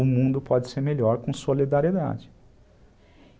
O mundo pode ser melhor com solidariedade.